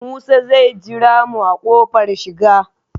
Musa zai jira mu a kofar shiga